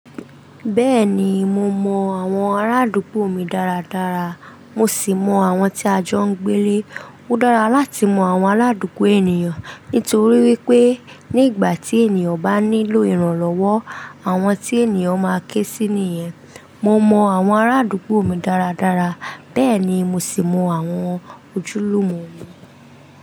Bẹ́ẹ̀ni, mo mọ àwọn arádúgbò mi dáradára, mo sì mọ àwọn tí a jọ ń gbé lé. Ó dára láti mọ àwọn aládùgbò ènìyàn nítorí wípé ní ìgbà tí ènìyàn bá nílò ìrànlọ́wọ́, àwọn tí ènìyàn máa ké sí nìyẹn. Mo mọ àwọn arádúgbò mi dáradára, bẹ́ẹ̀ ni mo sì mọ àwọn ojúlùmọ̀ mi.